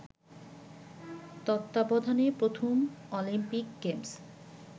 তত্বাবধানে প্রথম Olympic games